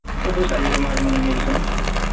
ସବୁ size ର ମାଛ ମାନ ମିଲିଚାନ୍